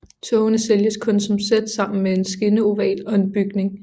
Togene sælges kun som sæt sammen med en skinneoval og en bygning